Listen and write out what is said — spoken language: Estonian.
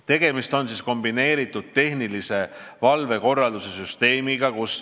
Tegemist on kombineeritud tehnilise valvekorralduse süsteemiga.